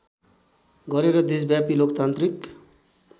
गरेर देशव्यापी लोकतान्त्रिक